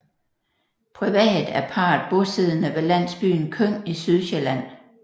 Privat er parret bosiddende ved landsbyen Køng i Sydsjælland